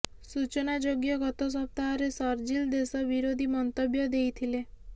ସୂଚନାଯୋଗ୍ୟ ଗତ ସପ୍ତାହରେ ଶରଜିଲ ଦେଶ ବିରୋଧୀ ମନ୍ତବ୍ୟ ଦେଇଥିଲେ